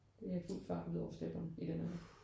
Det er fuld fart ud over stepperne i den alder